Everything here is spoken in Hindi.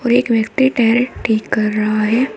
और एक व्यक्ति टायर ठीक कर रहा है।